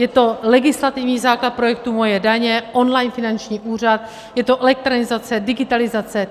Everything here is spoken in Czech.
Je to legislativní základ projektu Moje daně, online finanční úřad, je to elektronizace, digitalizace.